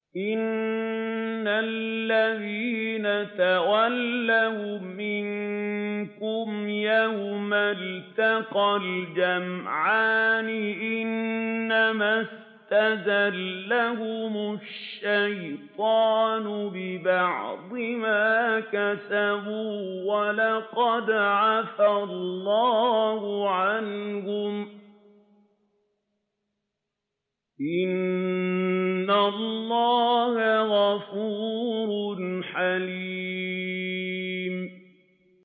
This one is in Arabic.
إِنَّ الَّذِينَ تَوَلَّوْا مِنكُمْ يَوْمَ الْتَقَى الْجَمْعَانِ إِنَّمَا اسْتَزَلَّهُمُ الشَّيْطَانُ بِبَعْضِ مَا كَسَبُوا ۖ وَلَقَدْ عَفَا اللَّهُ عَنْهُمْ ۗ إِنَّ اللَّهَ غَفُورٌ حَلِيمٌ